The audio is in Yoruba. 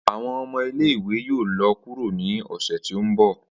Awọn ọmọ ile-iwe yoo lọ kuro ni ọsẹ ti n bọ.